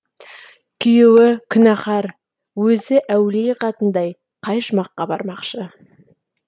күйеуі күнәһар өзі әулие қатындай қай жұмаққа бармақшы